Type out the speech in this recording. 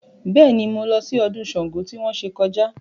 Bẹ́ẹ̀ ni, mo lọ sí ọdún Ṣàngó tí wọ́n ṣe kọjá